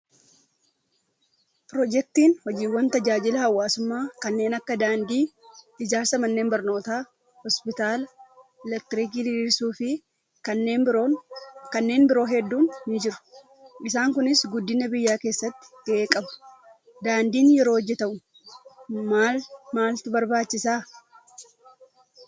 Piroojeektiin hojiiwwan tajaajila hawaasummaa kanneen akka daandii, ijaarsa manneen barnootaa, hospitaalaa, elektiriikii diriirsuu fi kanneen biroo hedduun ni jiru. Isaan Kunis guddina biyyaa keessatti gahee qabu. Daandiin yeroo hojjatamu maal maaltu barbaachisaa?